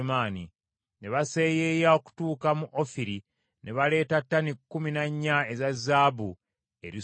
Ne baseeyeeya okutuuka mu Ofiri , ne baleeta ttani kkumi na nnya eza zaabu eri Sulemaani.